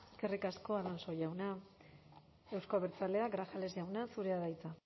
eskerrik asko alonso jauna euzko abertzaleak grajales jauna zurea da hitza